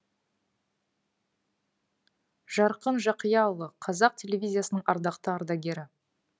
жарқын жақияұлы қазақ телевизиясының ардақты ардагері